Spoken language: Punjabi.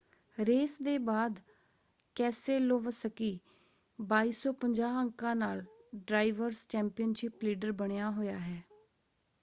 ਰੇਸ ਦੇ ਬਾਅਦ ਕੇਸੇਲੋਵਸਕੀ 2,250 ਅੰਕਾਂ ਨਾਲ ਡਰਾਇਵਰਸ ਚੈਂਪੀਅਨਸ਼ਿਪ ਲੀਡਰ ਬਣਿਆ ਹੋਇਆ ਹੈ।